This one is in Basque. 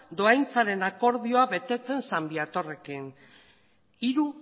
doaintzaren akordioa betetzen san viatorrekin hiru